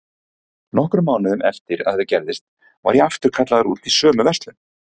Nokkrum mánuðum eftir að þetta gerðist var ég aftur kallaður út í sömu verslun.